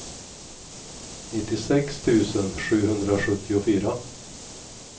nittiosex tusen sjuhundrasjuttiofyra